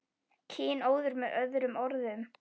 Kynóður með öðrum orðum.